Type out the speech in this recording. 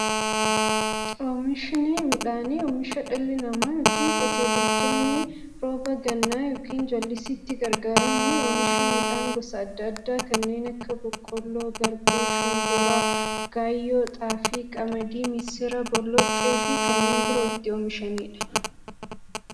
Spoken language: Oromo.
Oomishni midhaanii, oomisha dhalli namaa yookiin Qotee bultoonni roba gannaa yookiin jallisiitti gargaaramuun oomisha midhaan gosa adda addaa kanneen akka; boqqoolloo, garbuu, shumburaa, gaayyoo, xaafii, qamadii, misira, boloqqeefi kanneen biroo itti oomishamiidha.